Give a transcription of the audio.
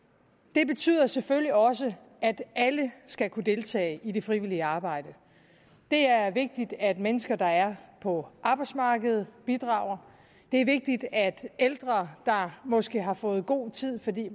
det betyder selvfølgelig også at alle skal kunne deltage i det frivillige arbejde det er vigtigt at mennesker der er på arbejdsmarkedet bidrager det er vigtigt at ældre der måske har fået god tid fordi